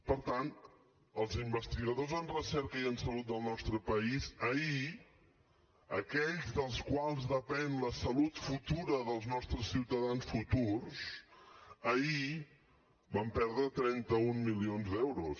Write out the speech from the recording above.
per tant els investigadors en recerca i en salut del nostre país ahir aquells dels quals depèn la salut futura dels nostres ciutadans futurs ahir van perdre trenta un milions d’euros